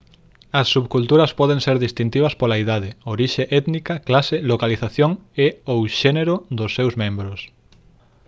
as subculturas poden ser distintivas pola idade orixe étnica clase localización e/ou xénero dos seus membros